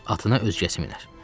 Atına özgəsi minər.